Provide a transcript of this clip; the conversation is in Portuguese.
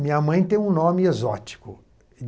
Minha mãe tem um nome exótico.